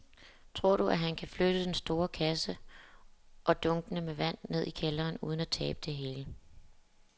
Tror du, at han kan flytte den store kasse og dunkene med vand ned i kælderen uden at tabe det hele?